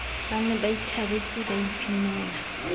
ne ba ithabetse ba ipinela